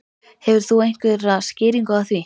Hefur þú einhverja skýringu á því?